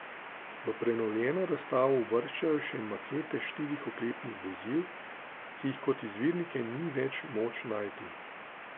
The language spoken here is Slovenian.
V prenovljeno razstavo uvrščajo še makete štirih oklepnih vozil, ki jih kot izvirnike ni več moč najti.